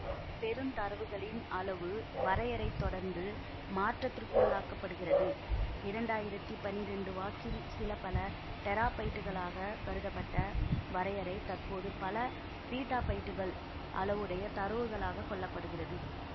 பெருந்தரவுகளின் அளவு வரையறை தொடர்ந்துமாற்றத்திற்குள்ளாக்கப்படுகிறது இரண்டாயிரத்தி பன்னிரெண்டு வாக்கில் சிலபல டெராபைட்டுகளாக கருதப்பட்ட வரையறைதற்போது பல பீட்டாபைட்டுகள் அளவுடைய தரவுகளாகக் கொள்ள படுகிறது